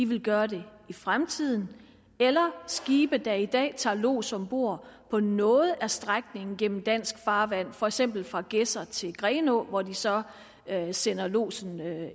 vil gøre det i fremtiden eller at skibe der i dag tager lods om bord på noget af strækningen gennem dansk farvand for eksempel fra gedser til grenaa hvor de så sender lodsen